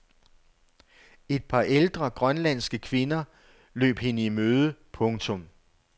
Et par ældre grønlandske kvinder løb hende i møde. punktum